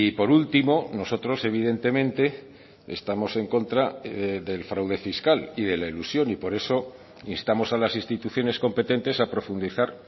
por último nosotros evidentemente estamos en contra del fraude fiscal y de la elusión y por eso instamos a las instituciones competentes a profundizar